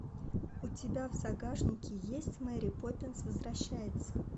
у тебя в загашнике есть мэри поппинс возвращается